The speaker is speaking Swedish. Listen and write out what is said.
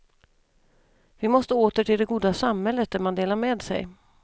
Vi måste åter till det goda samhället där man delar med sig.